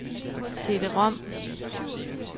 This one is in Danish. CD-rom